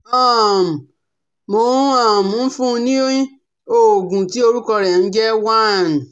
um Mò um n fún un ní òògùn tí orúkọ rẹ̀ ń jẹ́: one